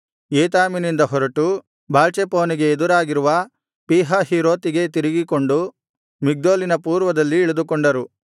ಏತಾಮಿನಿಂದ ಹೊರಟು ಬಾಳ್ಚೆಫೋನಿಗೆ ಎದುರಾಗಿರುವ ಪೀಹಹೀರೋತಿಗೆ ತಿರುಗಿಕೊಂಡು ಮಿಗ್ದೋಲಿನ ಪೂರ್ವದಲ್ಲಿ ಇಳಿದುಕೊಂಡರು